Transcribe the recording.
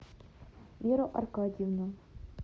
веру аркадьевну